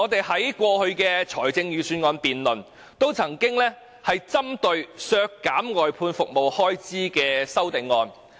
在過去的預算案辯論中，我們也曾提出針對削減外判服務開支的修正案。